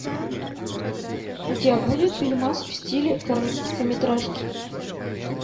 у тебя будет фильмас в стиле короткометражки